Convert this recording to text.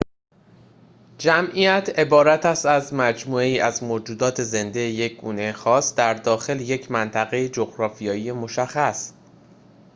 جمعیت عبارت است از مجموعه‌ای از موجودات زنده یک گونه خاص در داخل یک منطقه جغرافیایی مشخص